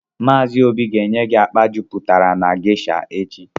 Maazị Obi ga enye gị akpa jupụtara na geisha echi